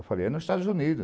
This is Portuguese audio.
Eu falei, é nos Estados Unidos.